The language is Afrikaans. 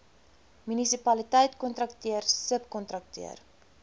munisipaliteit kontrakteur subkontrakteur